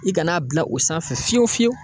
I ka n'a bila o sanfɛ fiyewu fiyewu.